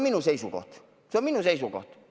See on minu seisukoht.